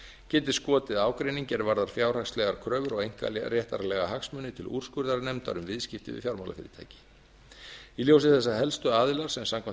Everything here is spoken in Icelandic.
geti skotið ágreiningi er varðar fjárhagslegar kröfur og einkaréttarlega hagsmuni til úrskurðarnefndar um viðskipti við fjármálafyrirtæki í ljósi þessara helstu aðila sem samkvæmt